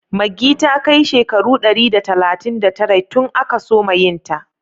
Maggi ta kai shekaru dari da talatin da tara tun aka soma yin ta